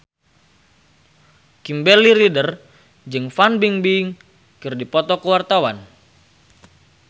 Kimberly Ryder jeung Fan Bingbing keur dipoto ku wartawan